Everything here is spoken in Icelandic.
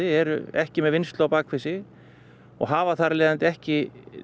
eru ekki með vinnslu á bak við sig og hafa þar af leiðandi ekki